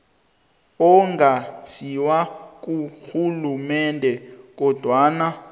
ongasiwo karhulumende kodwana